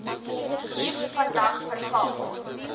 hier vandag veral